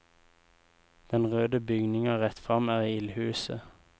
Den røde bygninga rett frem er ildhuset.